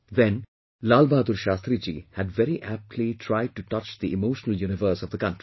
Then, Lal Bahadur Shashtri Ji had very aptly tried to touch the emotional universe of the country